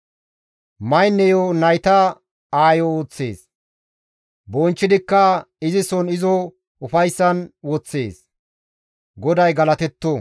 Mayneyo nayta aayo ooththees; bonchchidikka izison izo ufayssan woththees; GODAY galatetto!